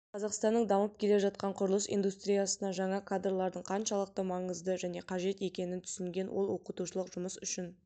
қазақстанның дамып келе жатқан құрылыс индустриясына жаңа кадрлардың қаншалықты маңызды және қажет екенін түсінген ол оқытушылық жұмыс үшін